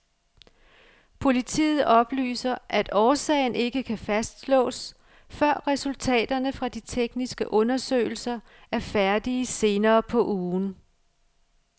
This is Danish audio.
Politiet oplyser, at årsagen ikke kan fastslås, før resultaterne fra de tekniske undersøgelser er færdige senere på ugen.